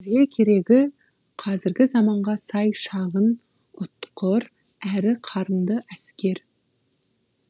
бізге керегі қазіргі заманға сай шағын ұтқыр әрі қарымды әскер